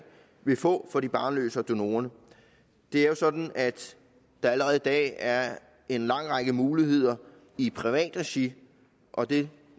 vil få for de barnløse og donorerne det er jo sådan at der allerede i dag er en lang række muligheder i privat regi og det